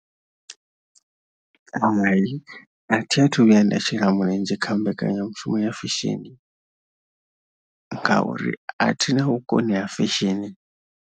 Hai a thi a thu vhuya nda shela mulenzhe kha mbekanyamushumo ya fesheni ngauri a thi na vhukoni ha fesheni.